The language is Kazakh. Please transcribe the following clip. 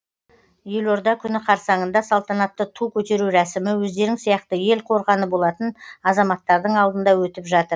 елорда күні қарсаңында салтанатты ту көтеру рәсімі өздерің сияқты ел қорғаны болатын азаматтардың алдында өтіп жатыр